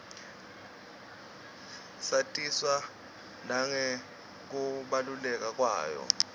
satiswa nangekubaluleka kwayo